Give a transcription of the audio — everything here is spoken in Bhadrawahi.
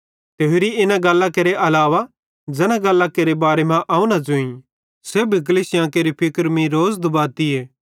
ते होरि इना गल्लां केरे अलावा ज़ैन गल्लां केरे बारे मां अवं न ज़ोईं सेब्भी कलीसिया केरे फिक्र मीं रोज़ दुबातीए